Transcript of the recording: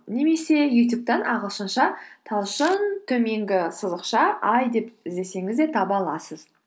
немесе ютюбтан ағылшынша талшын төменгі сызықша ай деп іздесеңіз де таба аласыз